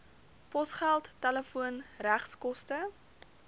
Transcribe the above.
posgeld telefoon regskoste